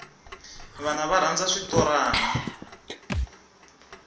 vana va rhandza switorana